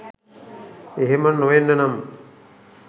එහෙම නොවෙන්න නම්